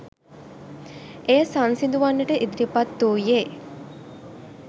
එය සංසිඳුවන්නට ඉදිරිපත් වූයේ